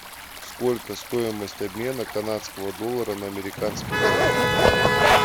сколько стоимость обмена канадского доллара на американский доллар